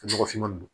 Nɔgɔfinma ninnu